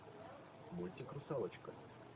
мультик русалочка